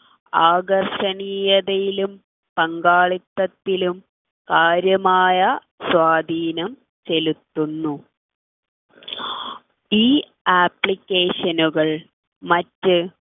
ആകർഷണീയതയിലും പങ്കാളിത്തത്തിലും കാര്യമായ സ്വാധീനം ചെലുത്തുന്നു ഈ application കൾ മറ്റ്